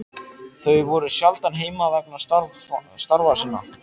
Þau voru sjaldan heima vegna starfa sinna.